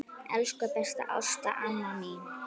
Elsku besta Ásta amma mín.